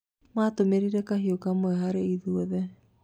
Matũmĩrĩrĩ kahiũ kamwe hari ithuothe